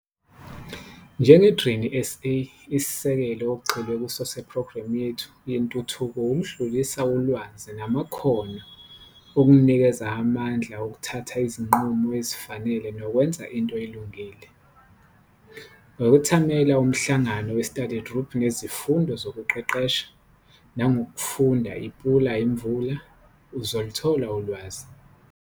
Njenge-Grain SA, isisekelo okugxilwe kuso sephrogremu yethu yentuthuko ukudlulisa ulwazi namakhono okukunikeza amandla okuthatha izinqumo ezifanele nokwenza into elungile. Ngokwethamela umhlangano we-study group nezifundo zokuqeqesha, nangokufunda iPula Imvula, uzoluthola ulwazi.